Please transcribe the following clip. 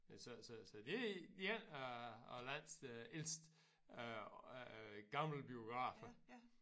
Så så så det en af af landets ældste øh gamle biografer